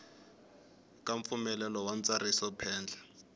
ka mpfumelelo wa ntsariso phendla